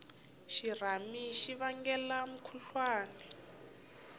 xirhami xi vangela mukhuhlwani